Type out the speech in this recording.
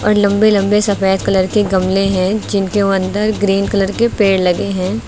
और लंबे लंबे सफेद कलर के गमले हैं जिनके अंदर ग्रीन कलर के पेड़ लगे हैं।